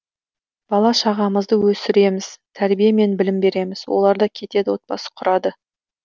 бала шағамызды өсіреміз тәрбие мен білім береміз оларда кетеді отбасы құрады